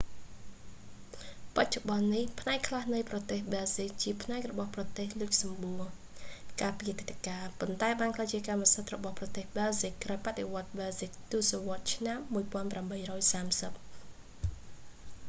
បច្ចុប្បន្ននេះ ផ្នែកខ្លះនៃប្រទេសប៊ែលស៊ិកជាផ្នែករបស់ប្រទេសលុចចសំបួរ កាលពីអតីតកាល ប៉ុន្តែបានក្លាយជាកម្មសិទ្ធិរបស់ប៊ែលសិកក្រោយបដិវដ្ដប៊ែលស៊ិកទសវត្សរ៍ឆ្នាំ1830